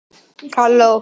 Verða félagsráðgjafar?